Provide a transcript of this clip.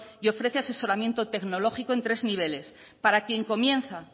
y ofrece asesoramiento tecnológico en tres niveles para quien comienza